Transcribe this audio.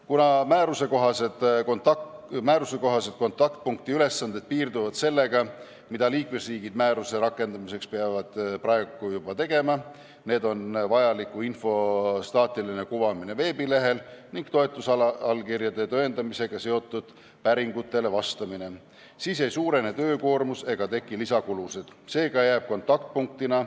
Kuna määruse kohaselt kontaktpunkti ülesanded piirduvad sellega, mida liikmesriigid peavad tegema määruse rakendamiseks juba praegu – vajaliku info staatiline kuvamine veebilehel ja toetusallkirjade tõendamisega seotud päringutele vastamine –, siis ei suurene töökoormus ega teki lisakulusid.